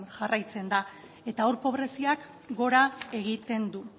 jarraitzen da eta hor pobreziak gora egiten du